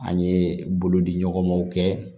An ye bolodiɲɔgɔnmaw kɛ